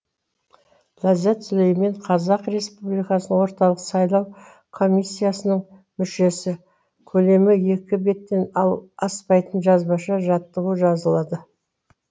ләззат сүлеймен қазақ республикасының орталық сайлау комиссиясының мүшесі көлемі екі беттен аспайтын жазбаша жаттығу жазылады